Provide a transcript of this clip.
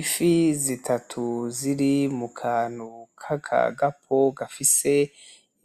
ifi zitatu ziri mukantu kaka gapo gafise